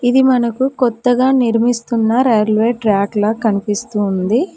ఇది మనకు కొత్తగా నిర్మిస్తున్న రైల్వే ట్రాక్ లా కనిపిస్తుంది.